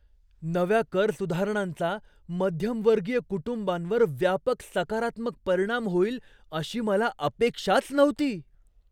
नव्या कर सुधारणांचा मध्यमवर्गीय कुटुंबांवर व्यापक सकारात्मक परिणाम होईल अशी मला अपेक्षाच नव्हती.